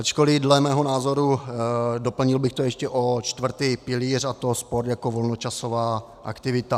Ačkoli, dle mého názoru, doplnil bych to ještě o čtvrtý pilíř, a to sport jako volnočasová aktivita.